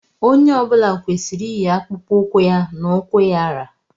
Onye ọ bụla kwesịrị iyi akpụkpọ ụkwụ ya na ukwu ya ra.